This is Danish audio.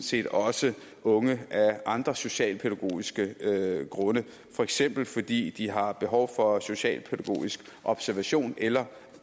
set også unge af andre socialpædagogiske grunde for eksempel fordi de har behov for socialpædagogisk observation eller